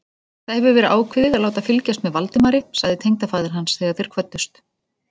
Það hefur verið ákveðið að láta fylgjast með Valdimari sagði tengdafaðir hans, þegar þeir kvöddust.